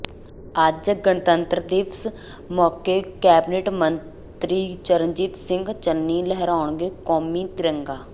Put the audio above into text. ਅੱਜ ਗਣਤੰਤਰ ਦਿਵਸ ਮੌਕੇ ਕੈਬਨਿਟ ਮੰਤਰੀ ਚਰਨਜੀਤ ਸਿੰਘ ਚੰਨੀ ਲਹਿਰਾਉਣਗੇ ਕੌਮੀ ਤਿਰੰਗਾ